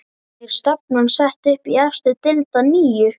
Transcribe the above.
Er stefnan sett upp í efstu deild að nýju?